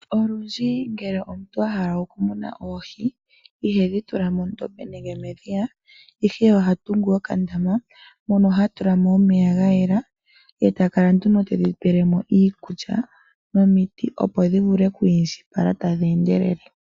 Olundji ngele omuntu ahala okumuna oohi ihedhi tula mondombe nenge medhiya, ihe oha tungu okandama mono hatula mo omeya gayela, eta kala nduno tedhi pelemo iikulya nomiti opo dhivule okwiindjipala tadhi endelele.